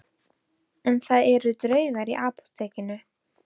En það eru draugar í Apótekinu